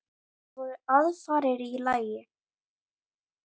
Það voru aðfarir í lagi!